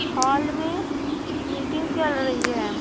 Hall में meeting चल रही है।